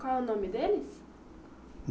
Qual é o nome deles?